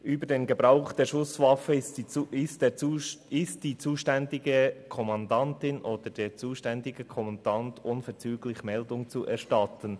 «Über den Gebrauch der Schusswaffe ist der zuständigen Polizeikommandantin oder dem zuständigen Polizeikommandanten unverzüglich Meldung zu erstatten.